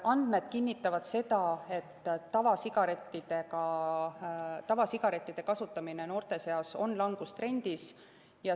Andmed kinnitavad, et tavasigarettide kasutamine noorte seas on langustrendis.